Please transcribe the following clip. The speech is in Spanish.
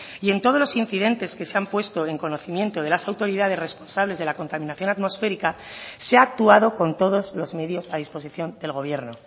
y en todos los incidentes que se han puesto en conocimiento de las autoridades responsables de la contaminación atmosférica se ha actuado con todos los medios a disposición del gobierno